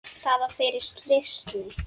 Það var fyrir slysni.